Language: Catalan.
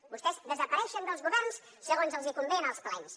vostès desapareixen dels governs segons els convé en els plens